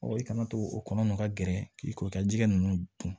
i kana to o kɔnɔ nun ka gɛrɛ k'i ko i ka jɛgɛ ninnu dun